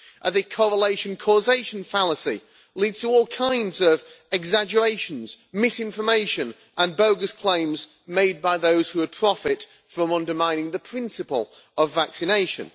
The correlation-causation fallacy lead to all kinds of exaggerations, misinformation and bogus claims made by those who would profit from undermining the principle of vaccination.